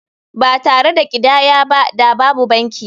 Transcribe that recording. Ba tare da ƙidaya ba da babu banki.